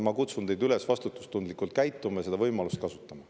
Ma kutsun teid üles vastutustundlikult käituma ja seda võimalust kasutama.